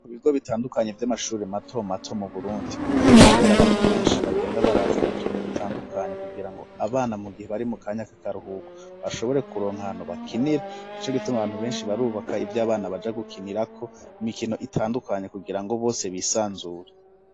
Mu bigo bitandukanye vy'amashuri mato mato mu Burundi ubu kubera abantu benshi bagenda barazana utuntu dutandukanye kugirango abana mu gihe bari mu kanyaka karuhuko bashobore kuronkantu bakinira. Ari naco gituma abantu benshi barubaka ivy'abana baja gukinirako imikino itandukanye kugira ngo bose bisanzure.